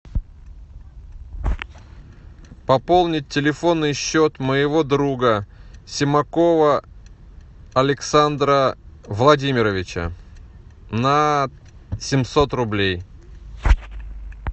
пополнить телефонный счет моего друга семакова александра владимировича на семьсот рублей